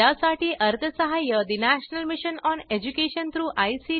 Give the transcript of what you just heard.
001116049 001153 यासाठी अर्थसहाय्य mission on education through I